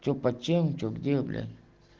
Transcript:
что почти ничего где блин